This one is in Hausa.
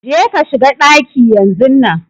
Je ka shiga ɗaki yanzun nan